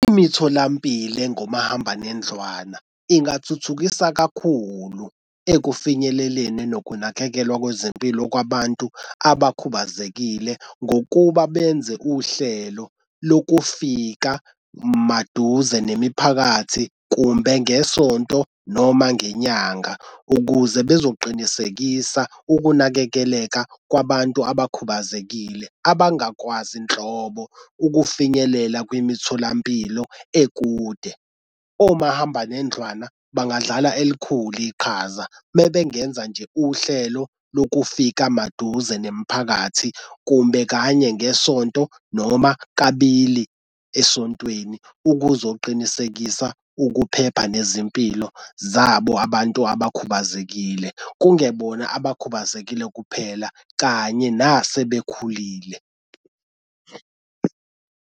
Imitholampilo engomahambanendlwana ingathuthukisa kakhulu ekufinyeleleni nokunakekelwa kwezempilo kwabantu abakhubazekile ngokuba benze uhlelo lokufika maduze nemiphakathi kumbe ngesonto noma ngenyanga ukuze bezoqinisekisa ukunakekeleka kwabantu abakhubazekile abangakwazi nhlobo ukufinyelela kwimitholampilo ekude. Omahambanendlwana bangadlala elikhulu iqhaza mebengenza nje uhlelo lokufika maduze nemiphakathi, kumbe kanye ngesonto noma kabili esontweni ukuzoqinisekisa ukuphepha nezimpilo zabo abantu abakhubazekile kungebona abakhubazekile kuphela kanye nasebekhulile.